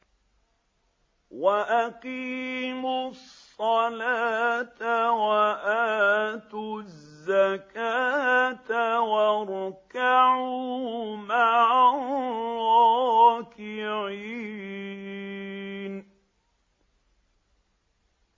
وَأَقِيمُوا الصَّلَاةَ وَآتُوا الزَّكَاةَ وَارْكَعُوا مَعَ الرَّاكِعِينَ